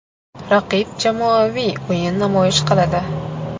Raqib jamoaviy o‘yin namoyish qiladi.